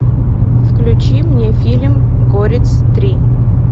включи мне фильм горец три